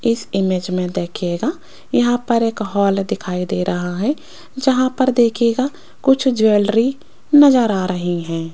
इस इमेज में देखिएगा यहां पर एक हॉल दिखाई दे रहा है जहां पर देखिएगा कुछ ज्वेलरी नजर आ रही हैं।